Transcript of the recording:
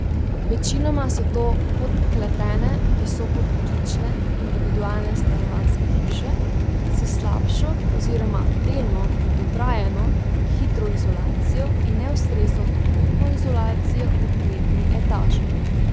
Večinoma so to podkletene visokopritlične individualne stanovanjske hiše s slabšo oziroma delno dotrajano hidroizolacijo in neustrezno toplotno izolacijo v kletni etaži.